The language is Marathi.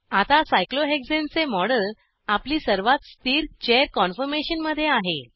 आता Cyclohexaneसायक्लोहेक्झेन चे मॉडेल आपली सर्वात स्थिर चेअर कान्फॉर्मेशन मध्ये आहे